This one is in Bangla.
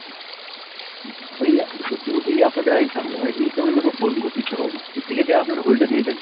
আর ইয়ে সত্যি বলতে এই আপনাদের আরেক ঝামেলা মানে এই কারণে লোকে phone করতে ইচ্ছে করে না, এই থেকে থেকে আপনারা hold এ দিয়ে দেন।